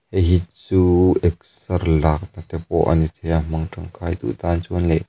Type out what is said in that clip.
heihi chu exer lakna te pawh a ni theia hmang tangkai duh tan chuan leh --